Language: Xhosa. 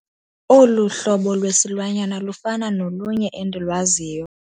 Olu hlobo lwesilwanyana lufana nolunye endilwaziyo.